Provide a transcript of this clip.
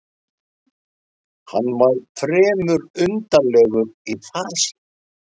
Hann var fremur undarlegur í fasi.